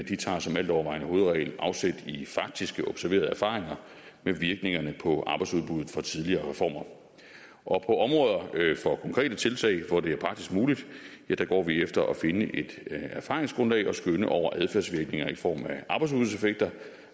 tager som altovervejende hovedregel afsæt i faktiske observerede erfaringer med virkningerne på arbejdsudbuddet fra tidligere reformer og på områder for konkrete tiltag hvor det er praktisk muligt går vi efter at finde et erfaringsgrundlag og skønne over adfærdsvirkninger i form